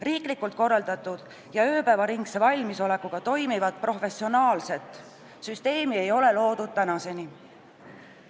Riiklikult korraldatud ja ööpäevaringse valmisolekuga toimivat professionaalset süsteemi ei ole loodud tänaseni.